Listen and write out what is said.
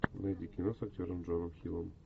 найди кино с актером джоном хиллом